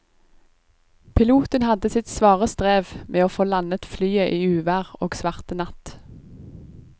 Piloten hadde sitt svare strev med å få landet flyet i uvær og svart natt.